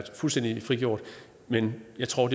fuldstændig frit men jeg tror